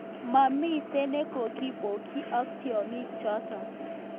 Mamiten nekokipoyik ak tianykik chato